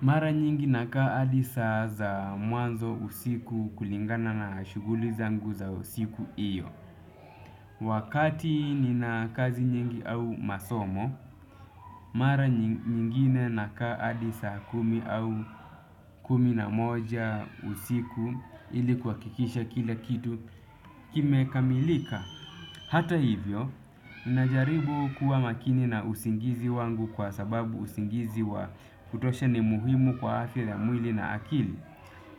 Mara nyingi nakaa hadi saa za mwanzo usiku kulingana na shughuli zangu za usiku iyo. Wakati nina kazi nyingi au masomo, mara nyingine nakaa hadi saa kumi au kumi na moja usiku ili kuhakikisha kila kitu kimekamilika. Hata hivyo, najaribu kuwa makini na usingizi wangu kwa sababu usingizi wa kutosha ni muhimu kwa afya ya mwili na akili.